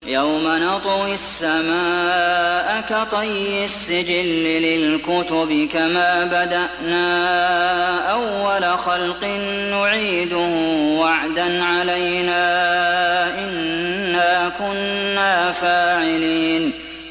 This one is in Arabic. يَوْمَ نَطْوِي السَّمَاءَ كَطَيِّ السِّجِلِّ لِلْكُتُبِ ۚ كَمَا بَدَأْنَا أَوَّلَ خَلْقٍ نُّعِيدُهُ ۚ وَعْدًا عَلَيْنَا ۚ إِنَّا كُنَّا فَاعِلِينَ